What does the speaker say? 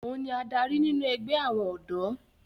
òun ni adarí nínú ẹgbẹ́ àwọn ọ̀dọ́